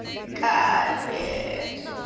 капец